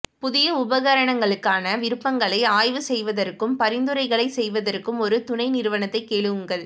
புதிய உபகரணங்களுக்கான விருப்பங்களை ஆய்வு செய்வதற்கும் பரிந்துரைகளைச் செய்வதற்கும் ஒரு துணைநிறுவனத்தை கேளுங்கள்